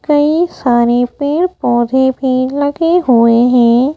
कई सारे पेड़-पौधे भी लगे हुए हैं।